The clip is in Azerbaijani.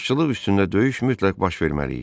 Başçılıq üstündə döyüş mütləq baş verməli idi.